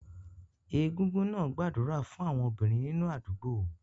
Egungun náà gbàdúrà fún àwọn obìnrin nínú àdúgbò